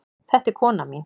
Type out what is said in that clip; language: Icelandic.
Þetta er konan mín.